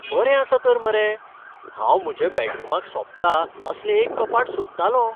बरें आसा तर मरे! हांव म्हज्या बॅडरूमाक सोबता असलें एक कपाट सोदतालों.